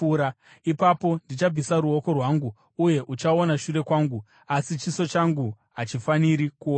Ipapo ndichabvisa ruoko rwangu uye uchaona shure kwangu; asi chiso changu hachifaniri kuonekwa.”